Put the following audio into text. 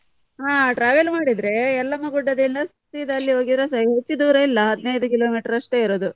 ಹಾ travel ಮಾಡಿದ್ರೆ Yellamma Gudda ದಿಂದ ಸೀದಾ ಅಲ್ಲಿಗೆ ಹೋಗಿ ಹೆಚ್ಚು ದೂರ ಇಲ್ಲ ಹದಿನೈದು kilometer ಅಷ್ಟೇ ಇರುದು.